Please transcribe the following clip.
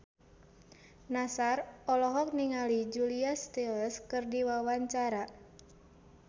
Nassar olohok ningali Julia Stiles keur diwawancara